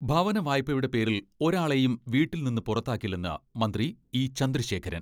ഭവന വായ്പയുടെ പേരിൽ ഒരാളെയും വീട്ടിൽനിന്ന് പുറത്താക്കില്ലെന്ന് മന്ത്രി ഇ.ചന്ദ്രശേഖരൻ.